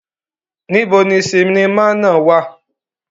Nibo ni sinima náa wa?